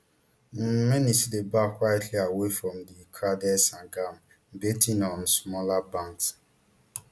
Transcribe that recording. um many still dey baff quietly away from di crowded sangam bathing on smaller banks